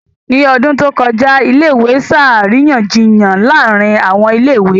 Ní ọdún tó kọjá, ilé ìwé ṣe àríyànjiyàn láàárín àwọn ilé ìwé